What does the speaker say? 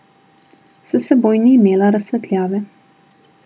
S seboj ni imel razsvetljave.